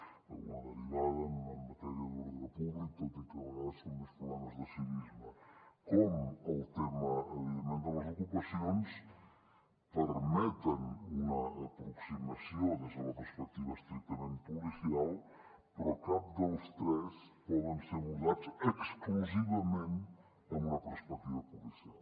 d’alguna derivada en matèria d’ordre públic tot i que a vegades són més problemes de civisme com el tema evidentment de les ocupacions permeten una aproximació des de la perspectiva estrictament policial però cap dels tres poden ser abordats exclusivament amb una perspectiva policial